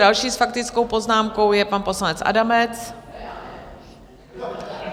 Další s faktickou poznámkou je pan poslanec Adamec.